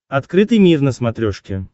открытый мир на смотрешке